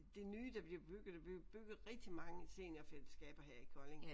Det nye der bliver der bliver bygget rigtig mange seniorfællesskaber her i Kolding